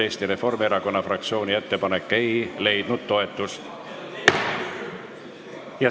Eesti Reformierakonna fraktsiooni ettepanek ei leidnud toetust.